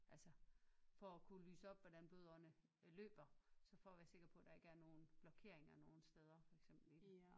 Altså for at kunne lyse op hvordan blodårene løber så for at være sikker på at der ikke er nogen blokeringer nogen steder for eksempel